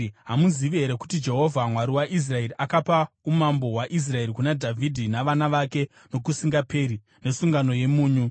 Hamuzivi here kuti Jehovha Mwari waIsraeri, akapa umambo hwaIsraeri kuna Dhavhidhi navana vake nokusingaperi nesungano yemunyu?”